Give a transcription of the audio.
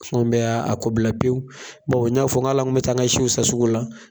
Fɛnw bɛ y'a kobila pewu, bawo n y'a fɔ ali an tun bɛ t'a n ka siw san sugu la.